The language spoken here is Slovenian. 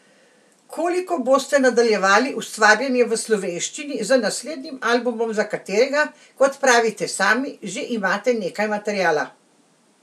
Koliko boste nadaljevali ustvarjanje v slovenščini z naslednjim albumom, za katerega, kot pravite sami, že imate nekaj materiala?